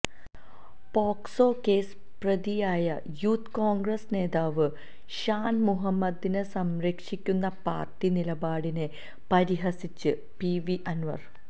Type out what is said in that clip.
POCSO case പ്രതിയായ youth Congress നേതാവ് ഷാന് മുഹമ്മദിനെ സംരക്ഷിക്കുന്ന പാര്ട്ടി നിലപാടിനെ പരിഹസിച്ച് പിവി അന്വര്